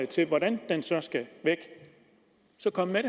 til hvordan den så skal væk så kom med